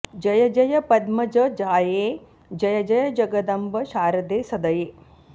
जय जय पद्मजजाये जय जय जगदम्ब शारदे सदये